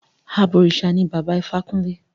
Àbọ̀rìṣà ní Bàbá Ifákúnlé.